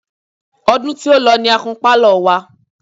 Ọdún tí ó lọ ní a kun Pálọ̀ wa.